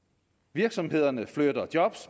virksomhederne flytter job